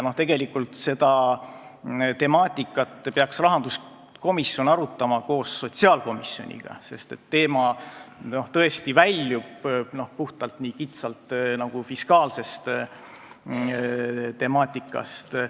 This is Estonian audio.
Tegelikult peaks rahanduskomisjon seda temaatikat arutama koos sotsiaalkomisjoniga, sest see tõesti väljub kitsalt fiskaalsest temaatikast.